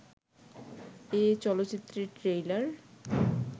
এ চলচ্চিত্রের ট্রেইলার